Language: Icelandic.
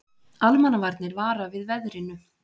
Almannavarnir vara við veðrinu